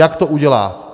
Jak to udělá?